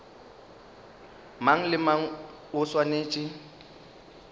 mang le mang o swanetše